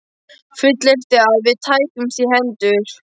Fullyrti, að við tækjumst í hendur.